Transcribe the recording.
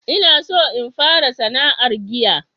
ina son in fara sana'ar giya